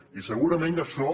i segurament això